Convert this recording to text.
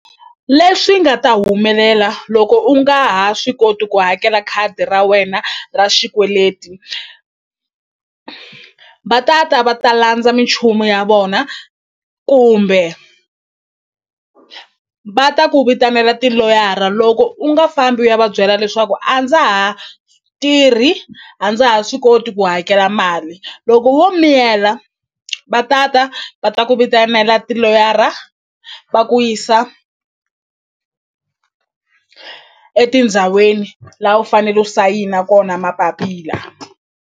Leswi nga ta humelela loko u nga ha swi koti ku hakela khadi ra wena ra xikweleti va tata va ta landza minchumu ya vona kumbe va ta ku vitanela tiloyara loko u nga fambi u ya va byela leswaku a ndza ha tirhi a ndza ha swi koti ku hakela mali loko wo miyela va tata va ta ku vitanela tiloyara va ku yisa etindhaweni la u fanele u sayina kona mapapila.